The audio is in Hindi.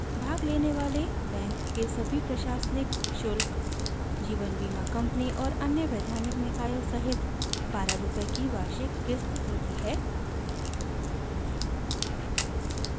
भाग लेने वाले बैंक के सभी प्रशानिक शुल्क जीवन बीमा कंपनी और अन्य वैधानिक निकायों सहित 12/ रूपए की वार्षिक क़िस्त होती है